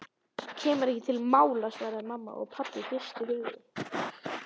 Kemur ekki til mála svaraði mamma og pabbi hristi höfuðið.